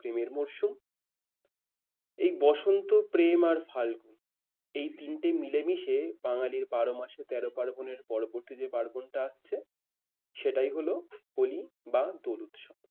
প্রেমের মৌসুম এই বসন্ত প্রেম আর ফাগুন। এই তিনটে মিলে মিশে বাঙালির বারো মাসে তেরো পার্বণের পরবর্তী যে পার্বনটা আসছে সেটাই হলো হলি বা দোল উৎসব।